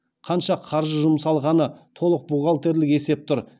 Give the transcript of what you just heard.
қанша қаржы жұмсалғаны толық бухгалтерлік есеп тұр